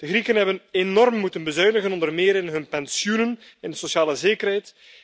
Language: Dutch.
De Grieken hebben enorm moeten bezuinigen, onder meer in hun pensioenen en in hun sociale zekerheid.